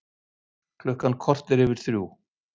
Klukkan korter yfir þrjú